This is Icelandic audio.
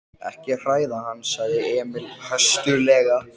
Ekki hræða hann, sagði Emil höstuglega.